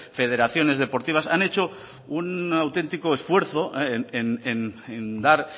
federaciones deportivas han hecho un auténtico esfuerzo en dar